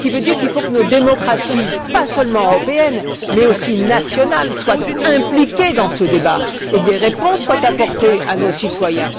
Ce qui veut dire qu'il faut que nos démocraties, pas seulement européennes, mais aussi nationales soient aussi impliquées dans ce débat et que des réponses soient apportées à nos citoyens.